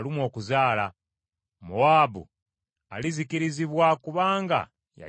Mowaabu alizikirizibwa, kubanga yajeemera Mukama .